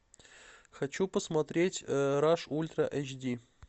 хочу посмотреть раш ультра эйч ди